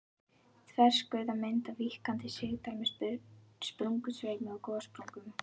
Þverskurðarmynd af víkkandi sigdal með sprungusveimi og gossprungum.